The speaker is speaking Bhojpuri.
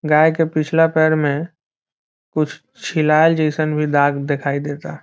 गाय के पिछले पैर में कुछ छिलाएल जइसन भी दाग दिखाई देता |